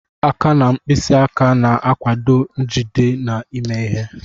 Aka na mkpịsị aka na-akwado njide na ime ihe.